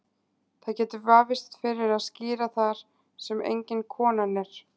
Það getur vafist fyrir að skíra þar sem engin konan er.